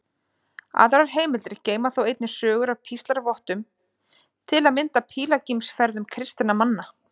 Aðrar heimildir geyma þó einnig sögur af píslarvottum, til að mynda af pílagrímsferðum kristinna manna.